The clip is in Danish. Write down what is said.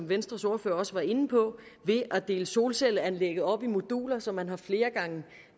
venstres ordfører også var inde på ved at dele solcelleanlægget op i moduler så man har flere gange